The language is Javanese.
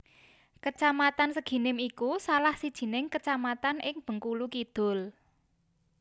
Kecamatan Seginim iku salah sijining kecamatan ing Bengkulu Kidul